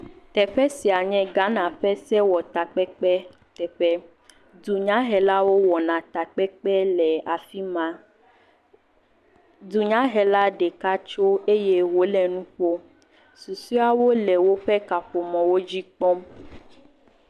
Teƒe sia nye Ghana ƒe sewɔtakpekpe teƒe, dunyahelawo wɔna takpekpe le afi ma, dunyahela ɖeka tso eye wole nu ƒom. Susuewo le woƒe kaƒomɔ dzi kpɔm.